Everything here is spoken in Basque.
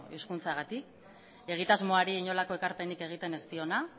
hizkuntzagatik egitasmoari inolako ekarpenik egiten ez diona